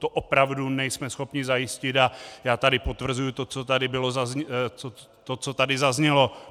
To opravdu nejsme schopni zajistit a já tady potvrzuji to, co tady zaznělo.